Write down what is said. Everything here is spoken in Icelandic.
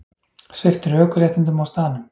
Sviptur ökuréttindum á staðnum